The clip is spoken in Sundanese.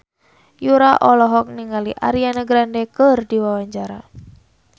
Yura olohok ningali Ariana Grande keur diwawancara